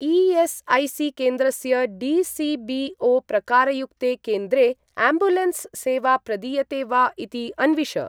ई.एस्.ऐ.सी.केन्द्रस्य डी.सी.बी.ओ.प्रकारयुक्ते केन्द्रे आम्ब्युलेन्स् सेवा प्रदीयते वा इति अन्विष।